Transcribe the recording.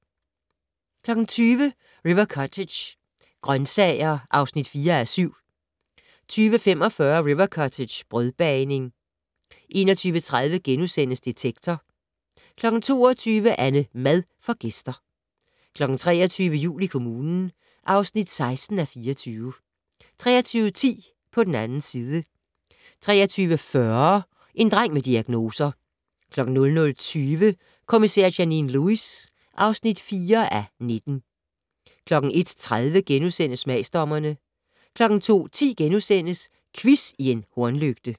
20:00: River Cottage - grøntsager (4:7) 20:45: River Cottage - brødbagning 21:30: Detektor * 22:00: AnneMad får gæster 23:00: Jul i kommunen (16:24) 23:10: På den 2. side 23:40: En dreng med diagnoser 00:20: Kommissær Janine Lewis (4:19) 01:30: Smagsdommerne * 02:10: Quiz i en hornlygte *